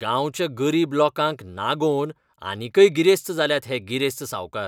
गांवच्या गरीब लोकांक नागोवन आनीकय गिरेस्त जाल्यात हे गिरेस्त सावकार.